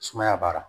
Sumaya b'a la